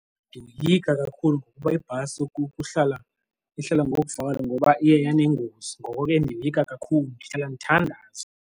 Ndiyoyika kakhulu ngokuba ibhasi ihlala ngokuvakala ngoba iye yanengozi ngoko ke ndiyoyika kakhulu ndihlala ndithandaza.